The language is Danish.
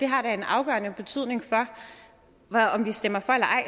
har en afgørende betydning for om vi stemmer for eller ej